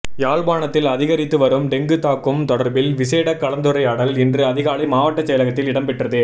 யாழ்ப்பாணத்தில் அதிகரித்து வரும் டெங்கு தாக்கும் தொடர்பில் விசேட கலந்துரையாடல் இன்று அதிகாலை மாவட்ட செயலகத்தில் இடம்பெற்றது